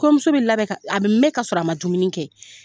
Kɔɲɔmuso bi labɛn a bi mɛn ka sɔrɔ, a ma dumuni kɛ.